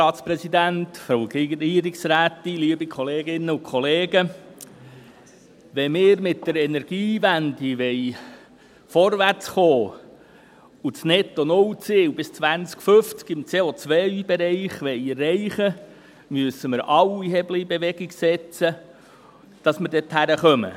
Wenn wir mit der Energiewende vorwärtskommen und das NettoNull-Ziel im CO-Bereich bis 2050 erreichen wollen, müssen wir alle Hebel in Bewegung setzen, damit wir dorthin kommen.